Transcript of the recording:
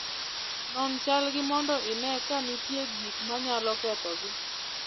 Non chalgi mondo ine ka nitie gik manyalo kethogi.